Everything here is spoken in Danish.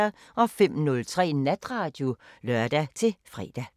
05:03: Natradio (lør-fre)